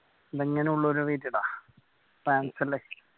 France അല്ലെ